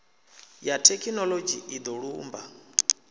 ya thekhinoḽodzhi i do lumba